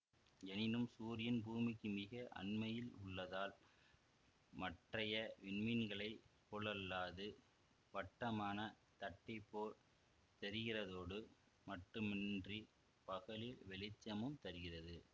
எனினும் சூரியன் பூமிக்கு மிக அண்மையில் உள்ளதால் மற்றைய விண்மீன்களைப் போலல்லாது வட்டமான தட்டிப்போல் தெரிகிறதோடு மட்டுமன்றி பகலில் வெளிச்சமும் தருகிறது